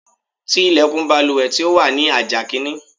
Ti ilẹ̀kùn baluwẹ̀ tí ó wà ní àjà kìíní.